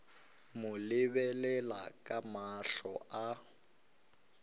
mo lebelela ka mahlo a